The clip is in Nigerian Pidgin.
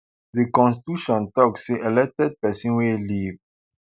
di constitution tok say elected pesin wey leave